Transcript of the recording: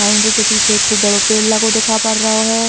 बाउंडरी के पीछे एक खूब बड़ो पेड़ लगो दिखा पर रओ है।